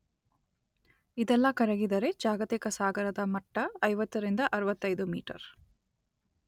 ಇದೆಲ್ಲ ಕರಗಿದರೆ ಜಾಗತಿಕ ಸಾಗರದ ಮಟ್ಟ ಐವತ್ತರಿಂದ ಅರುವತ್ತೈದು ಮೀಟರ್